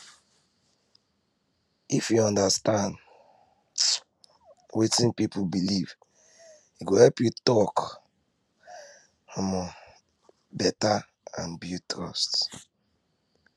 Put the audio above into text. if you understand um wetin person believe e go help you talk um better and build trust